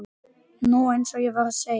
Nú, eins og ég var að segja.